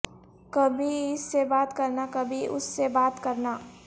کبھی اس سے بات کرنا کبھی اس سے بات کرنا